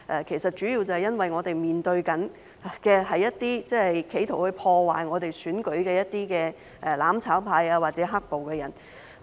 其實，主要原因是我們面對着一些企圖破壞香港選舉的"攬炒派"或"黑暴"的人。